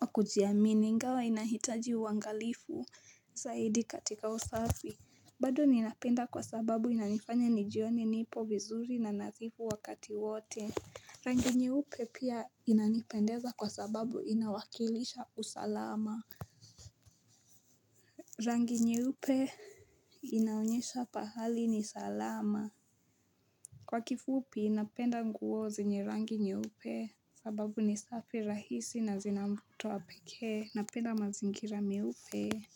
wa kujiamini, ingawa inahitaji uangalifu zaidi katika usafi. Bado ninapenda kwa sababu inanifanya nijione nipo vizuri na nadhifu wakati wote Rangi nyeupe pia inanipendeza kwa sababu inawakilisha usalama Rangi nyeupe inaonyesha pahali ni salama Kwa kifupi napenda nguo zenye rangi nyeupe sababu ni safi rahisi na zinamvuto pekee Napenda mazingira meupe.